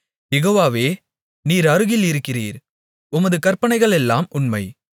யெகோவாவே நீர் அருகில் இருக்கிறீர் உமது கற்பனைகளெல்லாம் உண்மை